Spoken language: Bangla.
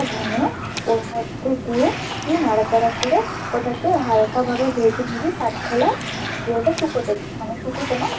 তুই নাড়াচাড়া করে হালকাভাবে ভেজে নিবি কাঠখোলায়, দিয়ে ওটা শুকোতে দিবি, মানে শুকোতে না।